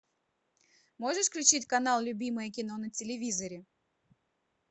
можешь включить канал любимое кино на телевизоре